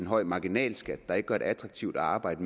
høj marginalskat der ikke gør det attraktivt at arbejde